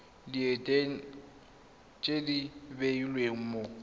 diteng tse di beilweng mo